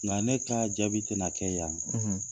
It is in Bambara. Nka ne ka jaabi tɛna kɛ yan, .